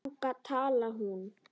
Þannig talaði hún.